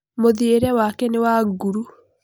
Mũthiĩre wake nĩ wa nguru.